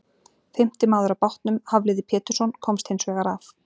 Fimmti maður á bátnum, Hafliði Pétursson, komst hins vegar af.